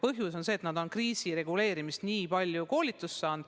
Põhjus on see, et nad on kriisireguleerimiseks nii palju koolitust saanud.